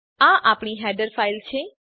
આ આપણી header file છે